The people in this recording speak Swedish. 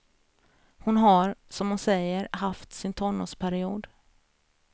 Hon har, som hon säger, haft sin tonårsperiod.